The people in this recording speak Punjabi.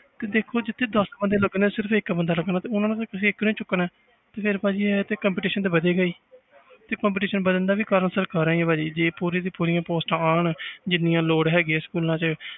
ਤੇ ਦੇਖੋ ਜਿੱਥੇ ਦਸ ਬੰਦੇ ਲੱਗਣੇ ਆਂ ਸਿਰਫ਼ ਇੱਕ ਬੰਦਾ ਲੱਗਣਾ ਤੇ ਉਹਨਾਂ ਵਿੱਚੋਂ ਤੁਸੀਂ ਇੱਕ ਨੂੰ ਚੁੱਕਣਾ ਹੈ ਤੇ ਭਾਜੀ ਇਹ ਤੇ competition ਤੇ ਵਧੇਗਾ ਹੀ ਤੇ competition ਵੱਧਣ ਦਾ ਕਾਰਨ ਵੀ ਸਰਕਾਰਾਂ ਹੀ ਆ ਭਾਜੀ ਜੇ ਪੂਰੀ ਦੀਆਂ ਪੂਰੀਆਂ posts ਆਉਣ ਜਿੰਨੀਆਂ ਲੋੜ ਹੈਗੀ ਆ ਸਕੂਲਾਂ 'ਚ